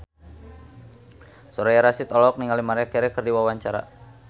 Soraya Rasyid olohok ningali Maria Carey keur diwawancara